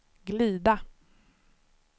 glida